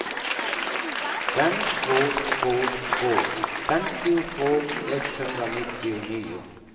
fem två två två femtiotvå etthundranittionio